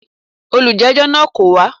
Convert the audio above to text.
Olùjẹ́jọ́ náà kò wá.